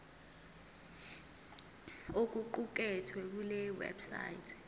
okuqukethwe kule website